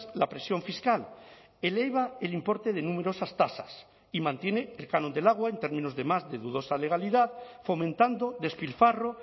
la presión fiscal eleva el importe de numerosas tasas y mantiene el canon del agua en términos de más de dudosa legalidad fomentando despilfarro